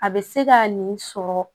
A bɛ se ka nin sɔrɔ